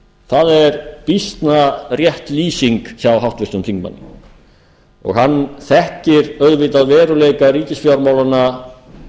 það er býsna rétt lýsing hjá háttvirtum þingmanni og hann þekkir á auðvitað veruleika ríkisfjármálanna